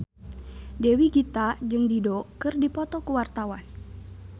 Dewi Gita jeung Dido keur dipoto ku wartawan